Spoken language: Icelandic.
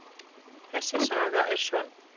Þessi saga er sönn.